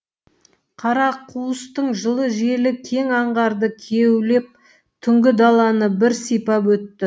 қарақуыстың жылы желі кең аңғарды кеулеп түнгі даланы бір сипап өтті